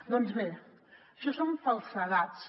doncs bé això són falsedats